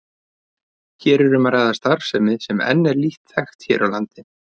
Hér er um að ræða starfsemi sem enn er lítt þekkt hér á landi.